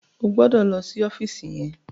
O gbọdọ̀ lọ sí ọ́fíìsì yẹn.